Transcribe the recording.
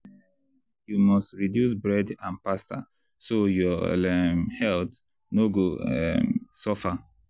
um you must reduce bread and pasta so your um health no go um suffer.